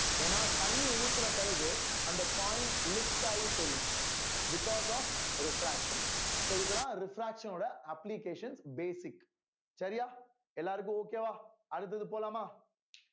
ஏன்னா தண்ணி ஊத்தின பிறகு அந்த coin lift ஆயி தெரியும் because of refraction so இதெல்லாம் refraction ஓட application basic சரியா எல்லாருக்கும் okay வா அடுத்தது போலாமா